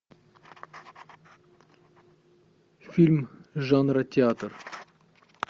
фильм жанра театр